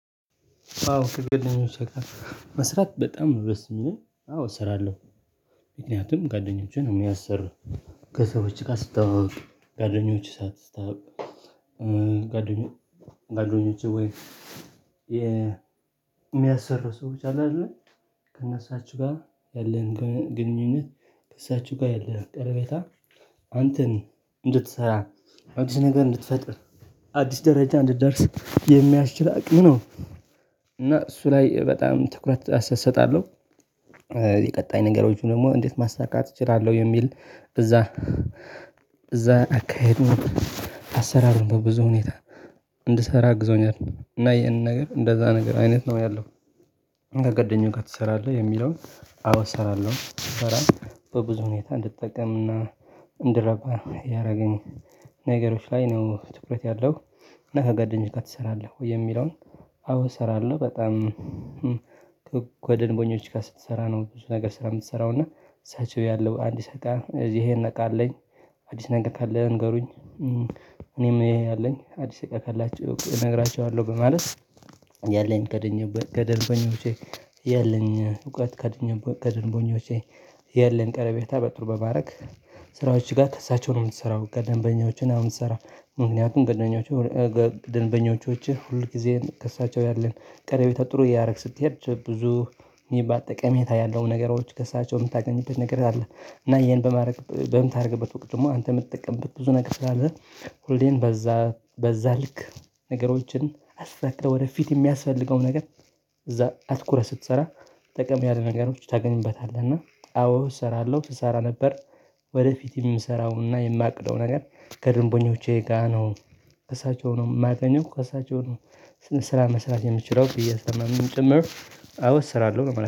አዎ ከጉዋደኞቼ ጋር መስራት በጣም ነው ደስ ሚለኝ አዎ እሰራለሁ። ምክንያቱም ጉዋደኞቼ ነው ሚያሰሩኝ። ከሰዎች ጋር ስተዋወቅ ጉዋደኞቼን ሳስታውቅ ጉዋደኞቼ ወይም የሚያሰሩ ሰዎች አለ አይደል? ከእነሱ ጋር ያለን ግንኙነት ከሳቸው ጋር ያለን ቀረቤታ አንተን እንድትሰራ አዲስ ነገር እንድትፈጥር አዲስ ደረጃ እንድትደርስ የሚያስችል አቅም ነው። እና እሱ ላይ በጣም ትኩረት አሰተያየት እሰጣለሁ። የቀጣይ ነገሮችን ደግሞ እንዴት ማሳካት እችላለሁ የሚል እዛ እዛ አካሄዱን አሰራሩን በብዙ ሁኔታ እንድሰራ አግዞኛል እና ይሄንን ነገር እንደዛ ነገር አይነት ነው ያለው። ጉዋደኛ ጋር ትሰራለህ የሚለውን አዎ እሰራለሁ። በብዙ ሁኔታ እንድጠቀምና እንድረባ ያደረገኝ ነገሮች ላይ ነው ትኩረት ያለው እና ከጉዋደኞች ጋር ትሰራለህ ወይ የሚለውን? አዎ ሰራለው በጣም። ከደምበኞቼ ስትሰራ ነው ብዙ ስራ ምሰራው እና እሳቸው የለው አድስ እቃ እዚህ እሄ እቃ አለኝ አድስ ነገር ካለ ንገሩኝ። እኔም አለኝ አድስ እቃ ካላቹ ነግራቸዋለሁ በማለት አዎ። እሰራለሁ በጣም ወደ ደንቦኞች ጋር ስትሰራ ነው ብዙ ነገር ስራ የምትሰራው እና እዛችው ያለው አንድ ሰዓት እዚህ ይሄን ነቃ አለኝ። ስራዎች ጋር ከእሳቸው ነው ምትሰራው ከደንበኞች አሁን ስራ ምክንያቱም ደንበኞችችህ ሁል ጊዜህን ከእሳቸው ያለን ቀረቤታ ጥሩ እያደረግ ስትሄድ ብዙ በአጠቃላይ ጠቀሜታ ያለው ነገሮች ከእሳቸው ምታገኝበት ነገር አለ። እና ይሄን በማድረግ በምታደርግበት ወቅት ደግሞ አንተ ምትጠቀምበት ብዙ ነገር ስላለ ሁሌም በዛ ልክ ነገሮችን አሳክተ ወደፊት የሚያስፈልገውን ነገር እዛ አትኩረህ ስትሰራ ጠቀም ያለ ነገሮች ታገኝበታለህ እና አዎ እሰራለሁ። ትሰራ ነበር ወደፊት የምሰራውንና የማቅደው ነገር ከድንቦኞቼ ጋር ነው። እሳቸው ነው የማገኘው እሳቸው ነው ስራ መስራት የምችለው ብዬ ስለማምን ጭምር አዎ እሰራለሁ።